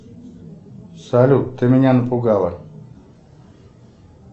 салют ты меня напугала